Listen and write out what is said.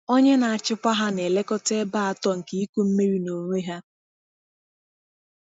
Onye na-achịkwa ha na-elekọta ebe atọ nke ịkụ mmiri n’onwe ha.